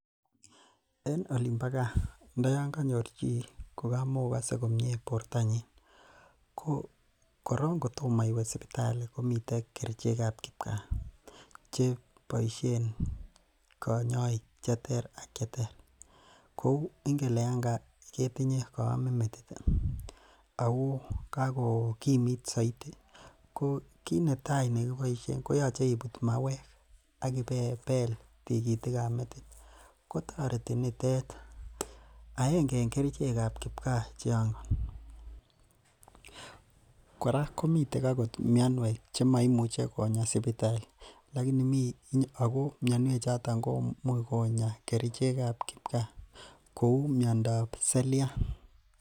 En olimbo kaa ndoyon konyor chii ko kamakokose komii komie bortanyin ko korong kotomo iwee sipitali komiten kerichekab kipkaa che boishen konyoik cheter ak cheter kouu ingele ketinye koomin metit ak ko kakokimit soiti ko kinetai kiit neboishen koyoche ibut mauek ak ibebel tikitikab metit, kotoreti nitet akenge en kerichekab kipkaa chon, kora komiten mionwek chemoimuche konya sipitali, lakini ak ko mionwoki choton komuch konya kerichekab kipkaa kouu miondab seriat.